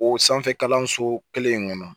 O sanfɛ kalanso kelen in kɔnɔ